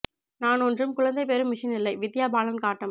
நான் ஒன்றும் குழந்தை பெறும் மிஷின் இல்லை வித்யா பாலன் காட்டம்